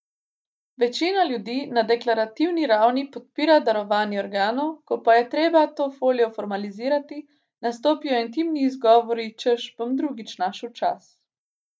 Večina ljudi na deklarativni ravni podpira darovanje organov, ko pa je treba to voljo formalizirati, nastopijo intimni izgovori, češ bom drugič našel čas.